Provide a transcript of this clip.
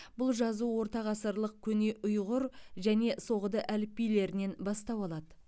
бұл жазу ортағасырлық көне ұйғыр және соғды әліпбилерінен бастау алады